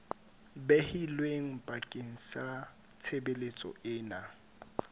behilweng bakeng sa tshebeletso ena